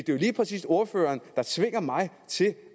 jo lige præcis ordføreren der tvinger mig til at